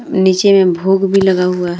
नीचे में भोग भी लगा हुआ है।